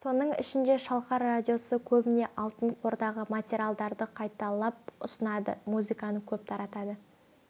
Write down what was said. соның ішінде шалқар радиосы көбіне алтын қордағы материалдарды қайталап ұсынады музыканы көп таратады